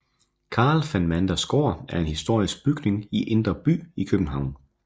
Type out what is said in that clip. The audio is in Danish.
Karel van Manders Gård er en historisk bygning i Indre By i København